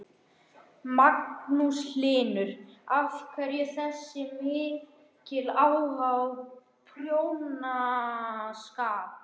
Magnús Hlynur: Af hverju þessi mikli áhugi á prjónaskap?